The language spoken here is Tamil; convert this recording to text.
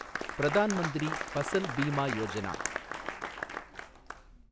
பிரதான் மந்திரி பசல் பீமா யோஜனா